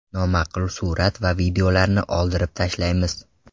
Noma’qul surat va videolarni oldirib tashlaymiz.